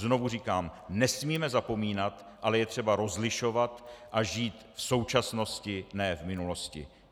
Znovu říkám: nesmíme zapomínat, ale je třeba rozlišovat a žít v současnosti, ne v minulosti.